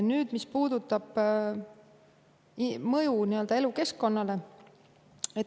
Nüüd, mis puudutab mõju elukeskkonnale.